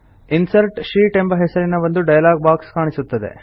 insert sheet ಎಂಬ ಹೆಸರಿನ ಒಂದು ಡೈಲಾಗ್ ಬಾಕ್ಸ್ ಕಾಣಿಸುತ್ತದೆ